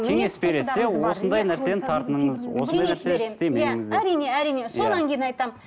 кеңес бересіз иә осындай нәрседен тартыныңыз осындай нәрсе істемеңіз деп әрине әрине кейін айтамын